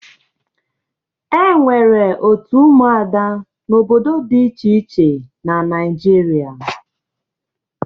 E nwere òtù ụmụada n'obodo dị iche iche na Naịjirịa.